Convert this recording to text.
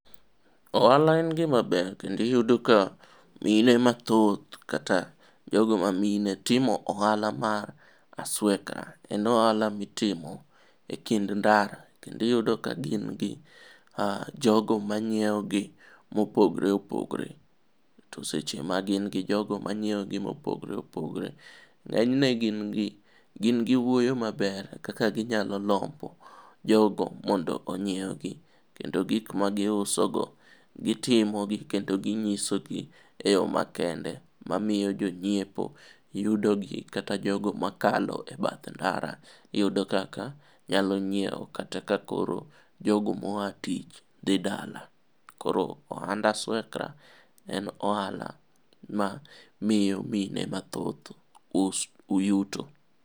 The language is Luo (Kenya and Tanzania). Ohala en gimaber kendo iyudo ka mine mathoth kata jogo mamine timo ohala mar aswekra en ohala mitimo e kind ndara kendo iyudo kagin gi jogo manyieogi mopogre opogre to seche magin gi jogo manyieogi mopogre opogore ng'enyne gingi wuoyo maber kaka ginyalo lombo jogo mondo onyiewgi kendo gikmagiusogo gitimogi kendo ginyisogi e yo makende mamiyo jonyiepo yudogi kata jogo makalo e bath ndara yudo kaka nyalo nyieo kata kakoro jogo moa tich dhi dala koro ohand aswekra en ohala mamiyo mine mathoth yuto.